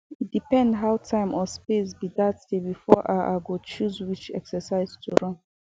e depend how time or space be that day before i i go choose which exercise to run